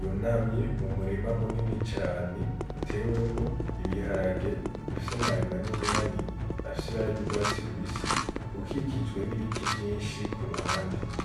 yunamye mu murima munini cane utewemwo ibiharage bifise amababi manini manini afise ibara ry'urwatsi rubisi ukikijwe n'ibiti vyinshi ku ruhande.